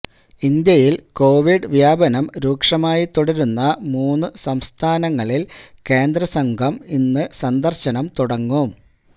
ഇന്ത്യയിൽ കോവിഡ് വ്യാപനം രൂക്ഷമായി തുടരുന്ന മൂന്ന് സംസ്ഥാനങ്ങളിൽ കേന്ദ്ര സംഘം ഇന്ന് സന്ദർശനം തുടങ്ങും